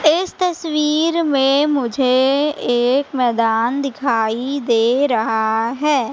इस तस्वीर में मुझे एक मैदान दिखाई दे रहा है।